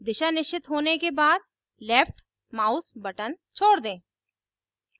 दिशा निश्चित होने के बाद left mouse button छोड़ दें